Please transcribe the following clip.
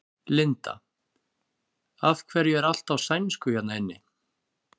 Linda: Af hverju er allt á sænsku hérna inni?